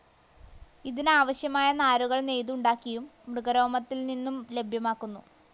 ഇതിനാവശ്യമായ നാരുകൾ നെയ്തുണ്ടാക്കിയും, മൃഗരോമത്തിൽ നിന്നും ലഭ്യമാക്കുന്നു.